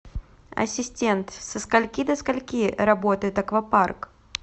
ассистент со скольки до скольки работает аквапарк